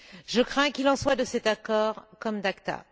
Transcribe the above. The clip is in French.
Je crains qu'il en soit de cet accord comme d'ACTA.